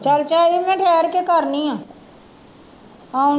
ਚੱਲ ਝਾਈ ਮੈਂ ਠਹਿਰ ਕੇ ਕਰਦੀ ਹਾਂ ਆਉਣ